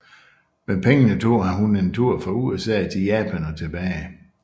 Med pengene tog hun en tur fra USA til Japan og tilbage